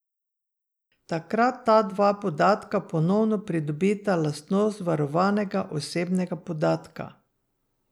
Takrat ta dva podatka ponovno pridobita lastnost varovanega osebnega podatka.